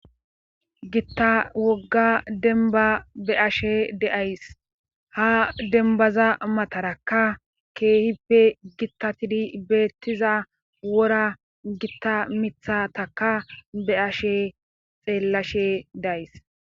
gitta wogga denba be'ashe de'ays ha denbaza matarakka keehippe gittatidi beettiza wora gitta mithataka be'ashe xeellashe days